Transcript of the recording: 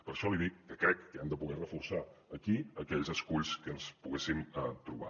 per això li dic que crec que hem de poder reforçar aquí aquells esculls que ens poguéssim trobar